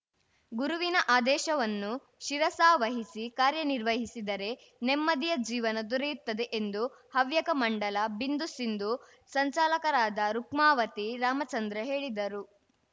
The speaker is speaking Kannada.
ಗುರುವಿನ ಆದೇಶವನ್ನು ಶಿರಸಾವಹಿಸಿ ಕಾರ್ಯನಿರ್ವಹಿಸಿದರೆ ನೆಮ್ಮದಿಯ ಜೀವನ ದೊರೆಯುತ್ತದೆ ಎಂದು ಹವ್ಯಕ ಮಂಡಲ ಬಿಂದುಸಿಂಧು ಸಂಚಾಲಕರಾದ ರುಕ್ಮಾವತಿ ರಾಮಚಂದ್ರ ಹೇಳಿದರು